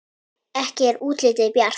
Ekki er útlitið bjart!